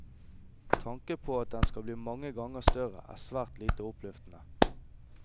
Tanken på at den skal bli mange ganger større, er svært lite oppløftende.